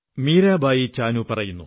മീരാബായി ചാനൂ പറയുന്നു